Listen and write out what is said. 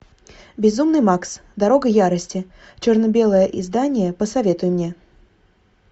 безумный макс дорога ярости черно белое издание посоветуй мне